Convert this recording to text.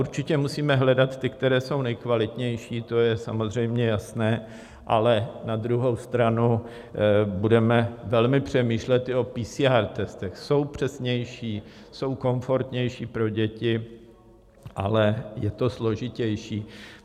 Určitě musíme hledat ty, které jsou nejkvalitnější, to je samozřejmě jasné, ale na druhou stranu budeme velmi přemýšlet i o PCR testech - jsou přesnější, jsou komfortnější pro děti, ale je to složitější.